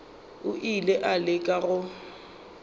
o ile a leka go